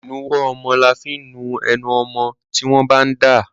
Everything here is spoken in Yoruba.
Ìnuwọ́ ọmọwọ́ là fi ń nu enu ọmọmọ́ tí wọ́n bá ń dà.